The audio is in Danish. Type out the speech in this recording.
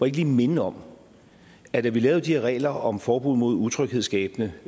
ikke lige minde om at da vi lavede de her regler om forbud mod utryghedsskabende